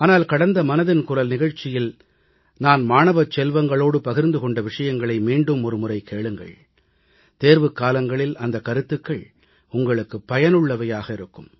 ஆனால் கடந்த மனதின் குரல் நிகழ்ச்சியில் நான் மாணவச் செல்வங்களோடு பகிர்ந்து கொண்ட விஷயங்களை மீண்டும் ஒரு முறை கேளுங்கள் தேர்வுக்காலங்களில் அந்தக் கருத்துகள் உங்களுக்கு பயனுள்ளவையாக இருக்கும்